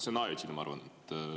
See on ajutine, ma arvan.